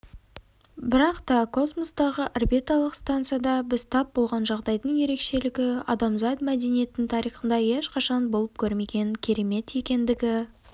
бірақ та космостағы орбиталық станцияда біз тап болған жағдайдың ерекшелігі адамзат мәдениетінің тарихында ешқашан болып көрмеген керемет екендігі